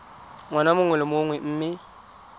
ngwaga mongwe le mongwe mme